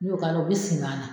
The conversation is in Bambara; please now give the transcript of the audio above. N'i y'o k'a la, o bɛ simi a na..